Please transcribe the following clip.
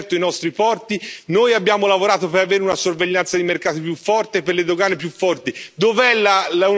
Voi avete aperto i nostri porti, noi abbiamo lavorato per avere una sorveglianza dei mercati più forte, per avere dogane più forti.